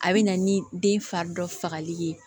A bɛ na ni den fari dɔ fagali ye